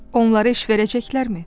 Onlara iş verəcəklərmi?